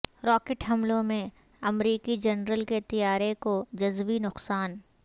rocket حملے میں امریکی جنرل کے طیارے کو جزوی نقصان